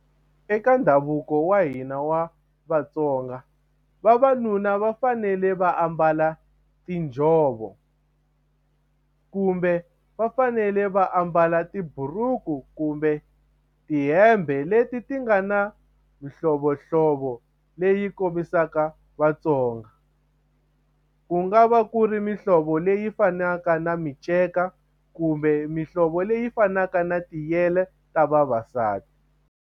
Eka ndhavuko wa hina wa Vatsonga vavanuna va fanele va ambala tinjhovo kumbe va fanele va ambala tiburuku kumbe tihembe leti ti nga na mihlovohlovo leyi kombisaka Vatsonga ku nga va ku ri mihlovo leyi fanaka na miceka kumbe mihlovo leyi fanaka na tiyele ta vavasati.